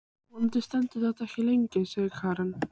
Vonandi stendur þetta ekki lengi, sagði Karen.